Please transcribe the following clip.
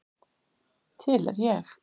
Til er ég.